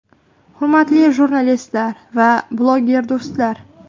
Hurmatli jurnalistlar va bloger do‘stlar!